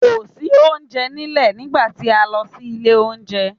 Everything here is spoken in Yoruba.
Kò sí oúnjẹ nílẹ̀ nígbà tí a lọ sí ilé oúnjẹ.